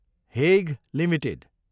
Hague Ltd